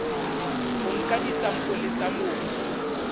o nka disampole tsa mobu